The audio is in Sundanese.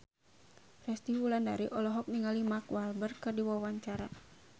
Resty Wulandari olohok ningali Mark Walberg keur diwawancara